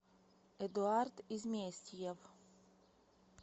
эдуард изместьев